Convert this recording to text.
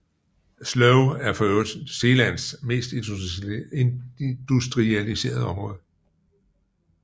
Sloe er forøvrigt Zeelands mest industrialiserede område